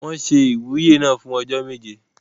Wọ́n se ìwúyè náà fún ọjọ́ méje.